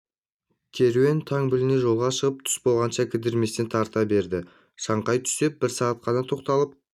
керуен таң біліне жолға шығып түс болғанша кідірместен тарта берді шаңқай түсте бір сағат қана тоқталып